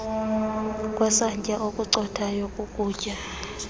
kwesantya okucothayo kokutya